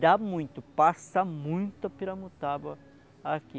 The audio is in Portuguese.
Dá muito, passa muito piramutaba aqui.